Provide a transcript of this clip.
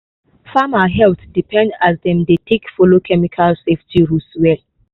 farmer health depend as dem dey take follow chemical safety rules well.